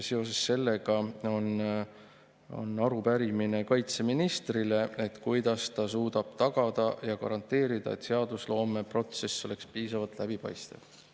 Seoses sellega on arupärimine kaitseministrile, et kuidas ta suudab tagada ja garanteerida, et seadusloomeprotsess oleks piisavalt läbipaistev.